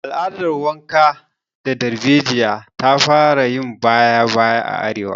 Al'adar wanka da darbejiya ta fara yin baya a arewa